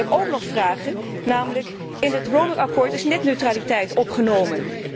Ik heb nog vragen namelijk in het roamingakkoord is netneutraliteit opgenomen.